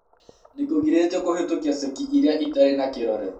Nĩ kũgirĩtio kũhĩtũkia ceki iria itarĩ na kĩrore.